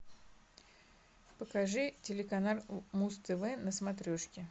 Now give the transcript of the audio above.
покажи телеканал муз тв на смотрешке